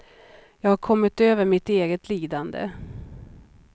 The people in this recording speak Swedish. Jag har kommit över mitt eget lidande.